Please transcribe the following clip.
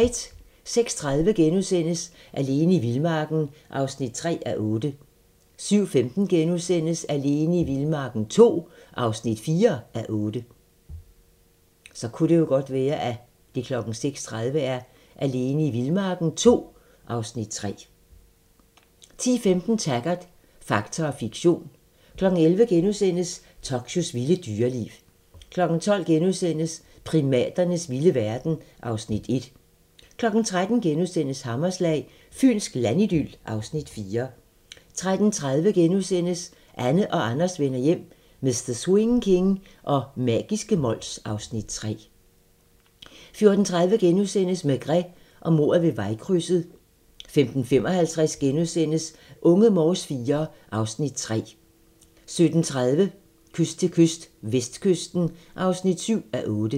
06:30: Alene i vildmarken (3:8)* 07:15: Alene i vildmarken II (4:8)* 10:15: Taggart: Fakta og fiktion 11:00: Tokyos vilde dyreliv * 12:00: Primaternes vilde verden (Afs. 1)* 13:00: Hammerslag - Fynsk landidyl (Afs. 4)* 13:30: Anne og Anders vender hjem - Mr. Swing King og magiske Mols (Afs. 3)* 14:30: Maigret og mordet ved vejkrydset * 15:55: Unge Morse IV (Afs. 3)* 17:30: Kyst til kyst - vestkysten (7:8)